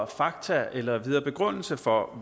fakta eller nogen videre begrundelse for at